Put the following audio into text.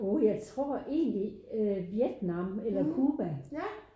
Uh jeg tror egentlig Vietnam eller Cuba